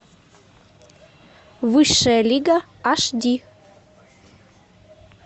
высшая лига аш ди